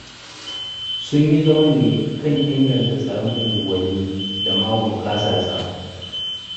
Sun yi zaman ne kan inganta tsaron unguwanni da ma bunƙasarsa.